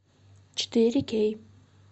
четыре кей